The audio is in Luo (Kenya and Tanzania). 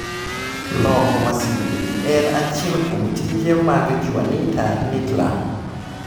Loko masinde gi en achiel kuom tije mag Juanita Nittla.